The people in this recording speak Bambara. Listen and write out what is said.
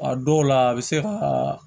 A dɔw la a bɛ se ka